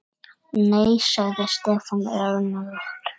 Nei svaraði Stefán önugur.